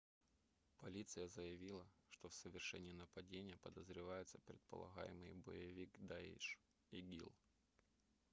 полиция заявила что в совершении нападения подозревается предполагаемый боевик даиш игил